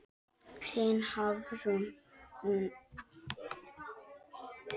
Þín Hafrún.